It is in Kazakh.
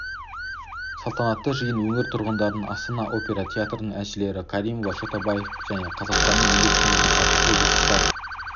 салтанатты жиын өңір тұрғындарының астана опера театрының әншілері каримова чотабаев және қазақстанның еңбек сіңірген әртісі вячеслав